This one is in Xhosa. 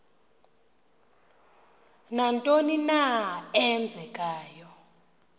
nantoni na eenzekayo